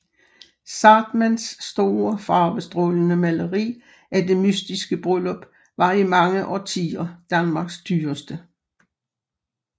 Zahrtmanns store farvestrålende maleri af Det mystiske Bryllup var i mange årtier Danmarks dyreste